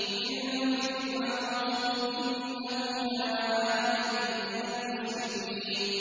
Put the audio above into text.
مِن فِرْعَوْنَ ۚ إِنَّهُ كَانَ عَالِيًا مِّنَ الْمُسْرِفِينَ